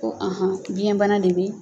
Ko anhan biyɛnbana de bɛ